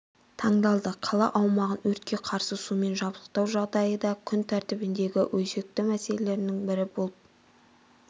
тыңдалды қала аумағын өртке қарсы сумен жабдықтау жағдайы да күн тәртібіндегі өзекті мәселенің бірі болып